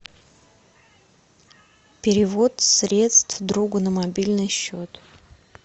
перевод средств другу на мобильный счет